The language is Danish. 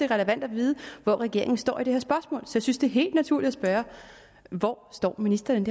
relevant at vide hvor regeringen står i det her spørgsmål så jeg synes det er helt naturligt at spørge hvor står ministeren